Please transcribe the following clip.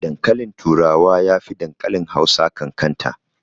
Dankalin turawa yafi dankalin Hausa ƙanƙanta.